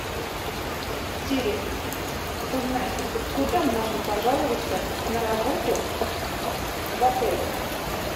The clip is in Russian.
сири узнай куда можно пожаловаться на работу в отеле